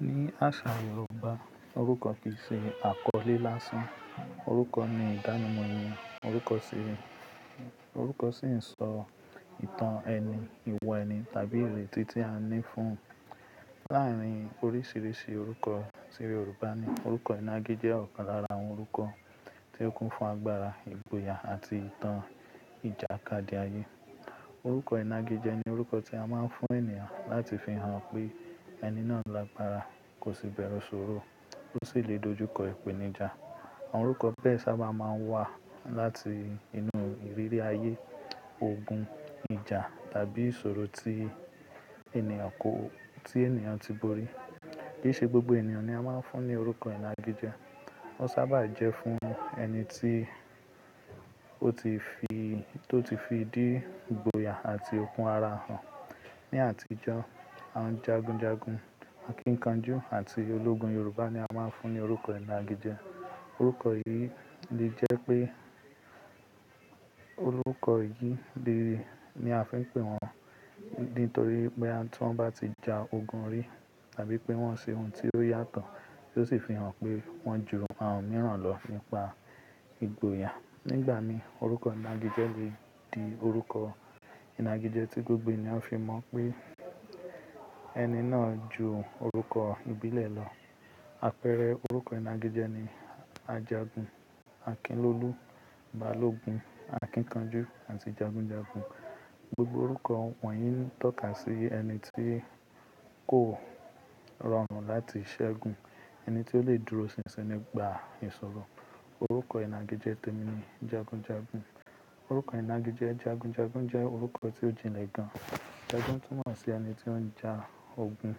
Ní àṣà Yorùbá, orúkọ kì í ṣe àkọlé lásán. Orúkọ ni ìdánimọ̀ èèyàn, orúkọ sì ń sọ ìtàn ẹni, ìwà ẹni tàbí ìrètí tí a ní fún un. Láàárín oríṣiríṣi orúkọ tí Yorùbá ní, orúkọ ìnagijẹ jẹ́ ọ̀kan lára àwọn orúkọ tí ó kún fún agbára, ìgboyà àti ìtàn ìjàkadì ayé. Orúkọ ìnagijẹ ni orúkọ tí a máa ń fún ènìyàn láti fi hàn pé ẹni náà lágbára, kò sì bẹ̀rù ìṣòro, ó sì lè dojú kọ ìpèníjà. Àwọn orúkọ bẹ́ẹ̀ sábà máa ń wá láti inú ìrírí ayé, ogun, ìjà tàbí ìṣòro tí ènìyàn ti borí. Kì í ṣe gbogbo ènìyàn ni a máa ń fún ní orúkọ ìnagijẹ. Ó sábà jẹ́ fún ẹni tó ti fi dí ìgboyà àti okun ara hàn. Ni àtijọ́, àwọn jagunjagun, akíkanjú àti ológun Yorùbá ni a máa ń fún ní orúkọ ìnagijẹ. Orúkọ yìí lè jẹ́ pé orúkọ yìí lère ni a fi ń pè wọ́n, nítorí pé tí wọ́n bá ti ja ogun rí tàbí pé wọ́n ṣe ohun tí ó yàtọ̀, tí ó sì fi hàn pé wọ́n jù àwọn mìíràn lọ nípa ìgboyà. Nígbà mìíràn orúkọ ìnagijẹ lè di orúkọ ìnagijẹ tí gbogbo ènìyàn fi mọ̀ pé ẹni náà ju orúkọ ìbílẹ̀ lọ. Àpẹẹrẹ orúkọ ìnagijẹ ni Ajagun, Akinlólú, Balógun, Akíkanjú àti Jagunjagun. Gbogbo orúkọ wọ̀nyí ń tọ́ka sí ẹni tí kò rọrùn láti ṣẹ́gun, ẹni tí ó lè dúró sinsin nígbà ìṣòro. Orúkọ ìnagijẹ tèmi ni Jagunjagun. Orúkọ ìnagijẹ Jagunjagun jẹ́ orúkọ tí ó jinlẹ̀ gan. Jagun túmọ̀ sí ẹni tí ó ń ja ogun.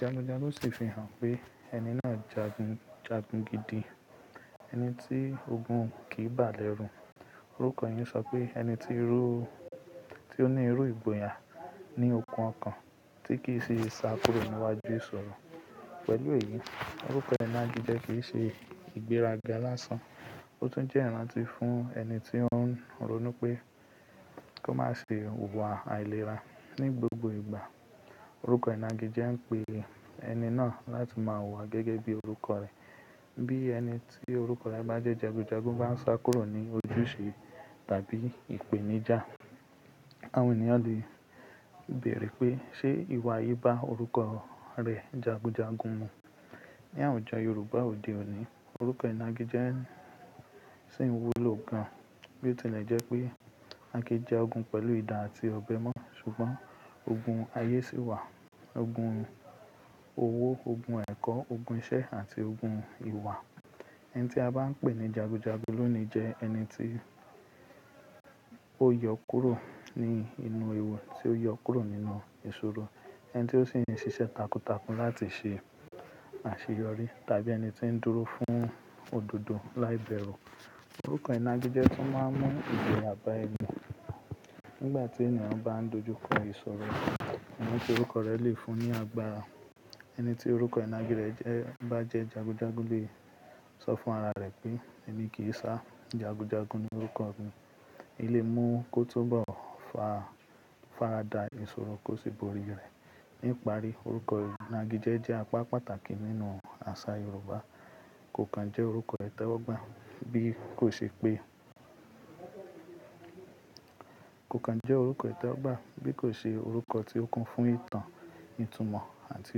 Jagunjagun sì fi hàn pé ẹni náà jagun, jagun gidi, ẹni tí ogun kì í bà lé rù. Orúkọ yìí ń sọ pé ẹni tí ó ní irú ìgboyà ní okun ọkàn tí kì í sì sá kúrò níwájú ìṣòro. Pẹ̀lú èyí, orúkọ ìnagijẹ kì í ṣe ìgbéraga lásán. Ó tún jẹ́ ìrántí fún ẹni tí ó ń ro nú pé kó má ṣe wùwà àìlera ní gbogbo ìgbà. Orúkọ ìnagijẹ ń pe ẹni náà láti máa wùwà gẹ́gẹ́ bí orúkọ rẹ̀. Bí ẹni tí orúkọ rẹ̀ bá jẹ́ Jagunjagun bá ń sá kúrò ní ojúṣe tàbí ìpèníjà, àwọn ènìyàn lè bèèrè pé ṣé ìwà yìí bá orúkọ rẹ̀ Jagunjagun mu? Ni àwùjọ Yorùbá òde òní, orúkọ ìnagijẹ sì ń wúlò gan. Bí ó tilẹ̀ jẹ́ pé a kin ja ogun pẹ̀lú idà àti ọ̀bẹ mọ́, ṣùgbọ́n ogun ayé sì wà, ogun owó, ogun ẹ̀kọ́, ogun isẹ́ àti ogun ìwà. Ẹni tí a bá ń pè ní Jagunjagun lónìí jẹ́ ẹni tí ó yọ kúrò ní inú ewu, tí ó yọ kúrò nínú ìṣòro, ẹni tí ó sì ń ṣiṣẹ́ takuntakun láti ṣe àṣeyọrí tàbí ẹni tí ń dúró fún òdodo láìbẹ̀rù. Orúkọ ìnagijẹ tún máa ń mú ìgboya ba ẹni. Nígbà tí ènìyàn bá ń dojú kọ ìṣòro, àwọn ẹni tí orúkọ rẹ̀ lè fún ní agbára. Ẹni tí orúkọ ìnagijẹ rẹ̀ bá jẹ́ Jagunjagun lè sọ fún ara rẹ̀ pé "Èmi kì í sá, Jagunjagun ni orúkọ mi". Ó lè mú kó tó bọ̀, ó faradà ìṣòro kó sì borí rẹ̀. Ní ìparí, orúkọ ìnagijẹ jẹ́ apá pàtàkì nínú àṣà Yorùbá. Kò kan jẹ́ orúkọ ìtẹ́wọ́gbà bí kò ṣe pé-- kò kan jẹ́ orúkọ ìtẹ́wọ́gbà bí kò ṣe orúkọ tí ó kún fún ìtàn, ìtumọ̀ àti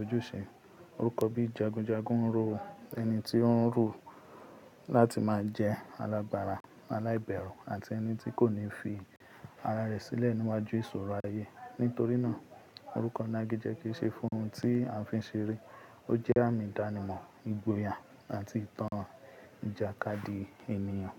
ojúṣe. Orúkọ bí Jagunjagun ń ro ẹni tí ó ń rò láti máa jẹ́ alábára, aláìbẹ̀rù àti ẹni tí kò ní fi ara rẹ̀ sílẹ̀ níwájú ìṣòro ayé. Nítorí náà, orúkọ ìnagijẹ kì í ṣe ohun tí à ń fi ṣeré. Ó jẹ́ àmì ìdánimọ̀, ìgboyà àti ìtàn ìjàkadì ènìyàn.